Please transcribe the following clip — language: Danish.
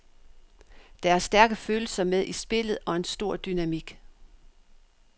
Der er stærke følelser med i spillet og en stor dynamik.